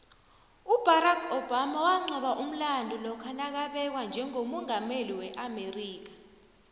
ubarack obama waqoba umlando lokha nakabekwa njegommungameli weamerika